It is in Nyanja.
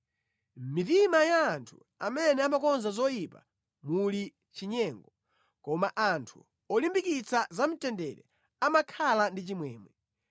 Mʼmitima ya anthu amene amakonza zoyipa muli chinyengo; koma anthu olimbikitsa za mtendere amakhala ndi chimwemwe.